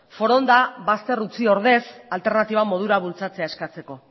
foronda bazter utzi ordez alternatiba modura bultzatzea eskatzeko